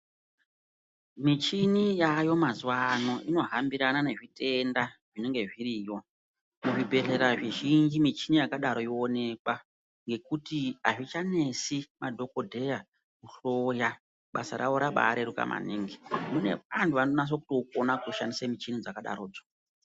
Michini yaayo mazuwano inohambirana nezvitenda zvinenge zviriyo. Zvibhedhlera zvizhinji michini yakadaro yoonekwa ngekuti hazvichanesi madhokodheya kuhloya. Basa ravo rabareruka maningi. Mune vantu vanonaso kutoukona kutoshandise michini dzakadarodzo.